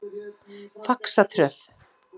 Faxatröð